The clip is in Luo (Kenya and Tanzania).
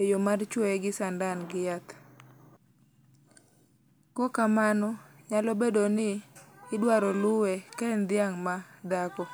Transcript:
e yoo mar chuoe gi sandan gi yath. Kok kamano nyalo bedoni idwaro luwe ka en dhiang' ma dhako.